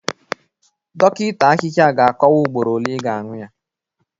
Dọkịta ahịhịa ga-akọwa ugboro ole ị ga-aṅụ ya